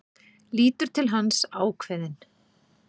Lítur til hans, ákveðin.